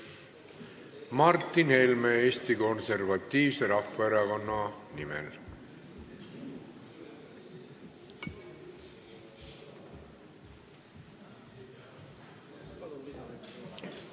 Martin Helme Eesti Konservatiivse Rahvaerakonna nimel.